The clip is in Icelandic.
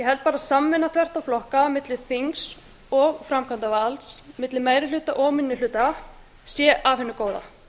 held bara að samvinna þvert á flokka milli þings og framkvæmdarvalds milli meiri hluta og minni hluta sé af hinu góða